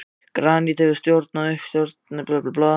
Granít hefur storknað sem stórir berghleifar djúpt í jörðu.